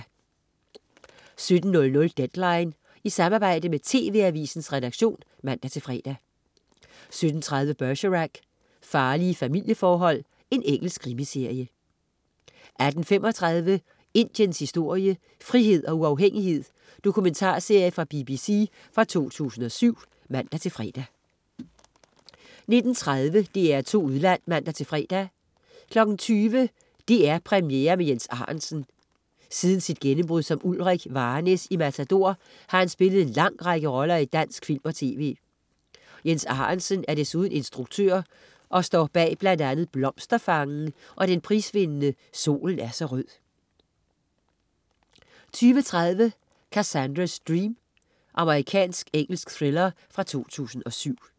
17.00 Deadline. I samarbejde med TV-AVISENS redaktion (man-fre) 17.30 Bergerac: Farlige familieforhold. Engelsk krimiserie 18.35 Indiens historie. "Frihed og uafhængighed" Dokumentarserie fra BBC fra 2007 (man-fre) 19.30 DR2 Udland (man-fre) 20.00 DR2 Premiere med Jens Arentzen. Siden sit gennembrud som Ulrich Varnæs i "Matador" har han spillet en lang række roller i dansk film og tv. Jens Arentzen er desuden instruktør og står bl.a. bag "Blomsterfangen" og den prisvindende "Solen er så rød" 20.30 Cassandra's Dream. Amerikansk-engelsk thriller fra 2007